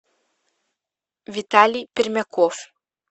виталий пермяков